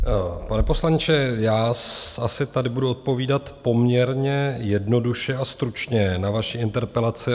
Pane poslanče, já asi tady budu odpovídat poměrně jednoduše a stručně na vaši interpelaci.